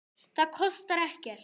Það kostar hann ekkert.